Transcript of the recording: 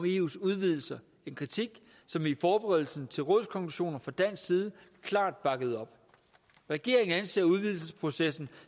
eus udvidelse en kritik som vi i forberedelsen til rådskonklusionerne fra dansk side klart bakkede op regeringen anser udvidelsesprocessen